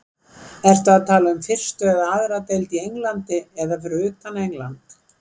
Ertu að tala um fyrstu eða aðra deild í Englandi eða fyrir utan England?